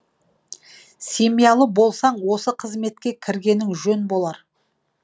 семьялы болсаң осы қызметке кіргенің жөн болар